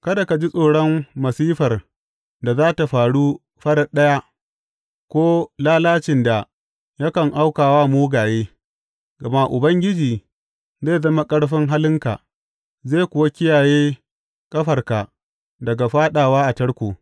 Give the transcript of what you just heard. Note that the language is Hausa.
Kada ka ji tsoron masifar da za tă faru farat ɗaya ko lalacin da yakan auka wa mugaye, gama Ubangiji zai zama ƙarfin halinka zai kuwa kiyaye ƙafarka daga fāɗawa a tarko.